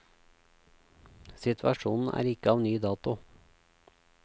Situasjonen er ikke av ny dato.